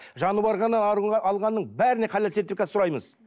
жануарға алғанның бәріне халал сертификат сұраймыз